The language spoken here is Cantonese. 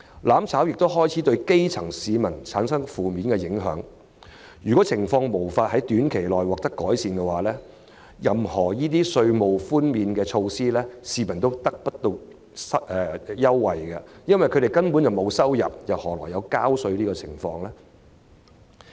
"攬炒"亦開始對基層市民產生負面影響，如情況在短期內無法改善，無論推出甚麼稅務寬免措施，市民也無法受惠，因為他們根本沒有收入，何來納稅？